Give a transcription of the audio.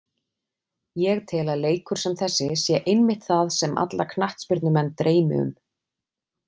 Ég tel að leikur sem þessi sé einmitt það sem alla knattspyrnumenn dreymi um.